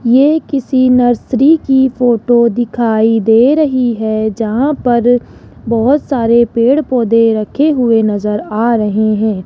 ये किसी नर्सरी की फोटो दिखाई दे रही है जहां पर बहोत सारे पेड़ पौधे रखे हुए नजर आ रहे हैं।